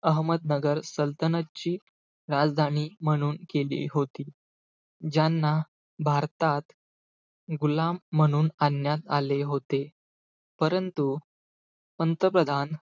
अहमदनगर सल्तनतची राजधानी म्हणून केली होती. ज्यांना भारतात गुलाम म्हणून आणण्यात आले होते. परंतु, पंतप्रधान,